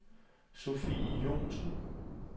Sophie Joensen